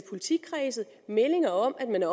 politikredse meldinger om at man